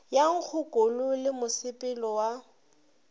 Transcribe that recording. ya nkgokolo le mosepelo wa